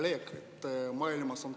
Hea kolleeg!